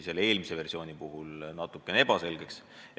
Selle versiooni puhul on see jäänud natukene ebaselgeks.